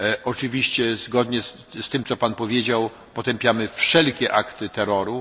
Oczywiście, zgodnie z tym, co Pan powiedział, potępiamy wszelkie akty terroru.